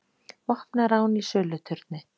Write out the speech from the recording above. Vopnað rán í söluturni